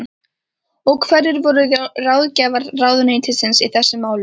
Og hverjir voru ráðgjafar ráðuneytisins í þessum málum?